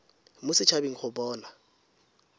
mo set habeng go bona